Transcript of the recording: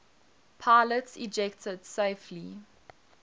pilots ejected safely